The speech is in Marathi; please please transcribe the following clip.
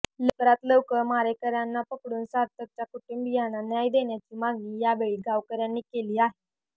लवकरात लवकर मारेकऱ्यांना पकडून सार्थकच्या कुटूंबियांना न्याय देण्याची मागणी यावेळी गावकऱ्यांनी केली आहे